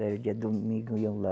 Eh dia domingo, iam lá